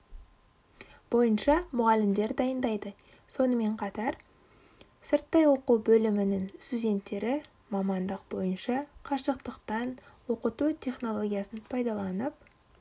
бойынша мұғалімдер дайындайды сонымен қатар сырттай оқу бөлімінің студенттері мамандық бойынша қашықтықтан оқыту технологиясын пайдаланып